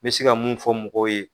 Me se ka mun fɔ mɔgɔw ye